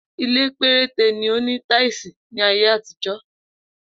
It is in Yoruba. Ilé̩ péréte ni ó ni táílì ní ayé àtijó̩